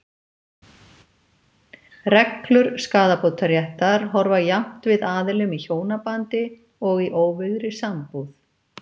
Reglur skaðabótaréttar horfa jafnt við aðilum í hjónabandi og í óvígðri sambúð.